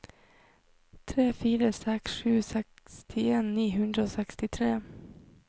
tre fire seks sju sekstien ni hundre og sekstitre